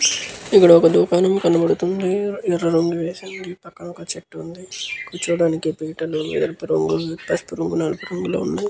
ఇక్కడ ఒక దుఖానం కనపడుతుంది. ఎర్ర రంగువేసింది. పక్కన ఒక చెట్టు ఉంది. కూర్చోవడానికి పీటలు ఎరుపు రంగు పసుపు రంగులో ఉన్నాయి .